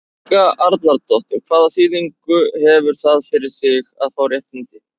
Helga Arnardóttir: Hvaða þýðingu hefur það fyrir þig að fá réttindi?